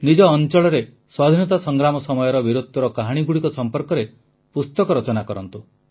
ନିଜ ଅଂଚଳରେ ସ୍ୱାଧୀନତା ସଂଗ୍ରାମ ସମୟର ବୀରତ୍ୱର କାହାଣୀଗୁଡ଼ିକ ସମ୍ପର୍କରେ ପୁସ୍ତକ ରଚନା କରନ୍ତୁ